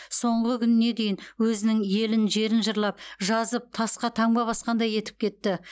соңғы күніне дейін өзінің елін жерін жырлап жазып тасқа таңба басқандай етіп кетті